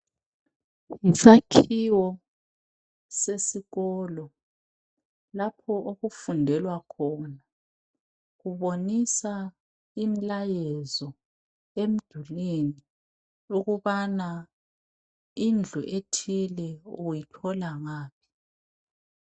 Yisakhiwo sesikolo, lapha okufundelwa khona. Kubonisa imilayezo emdulwini, ukubana indlu ethile, uyithola ngaphi.